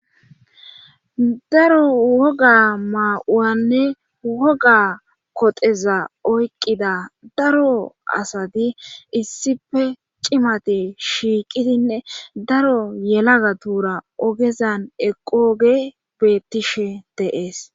daro woga maa7uwanne woga koteza oyqqida daro asati issife cimati shiiqidinne daro yelaga tuura ogezan eqooge beettishe deees